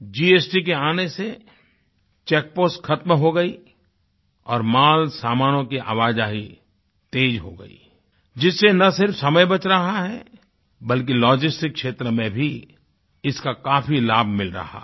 GST के आने से चेक पोस्ट ख़त्म हो गई और माल सामानों की आवाजाही तेज़ हो गई जिससे न सिर्फ़ समय बच रहा है बल्कि लॉजिस्टिक्स क्षेत्र में भी इसका काफ़ी लाभ मिल रहा है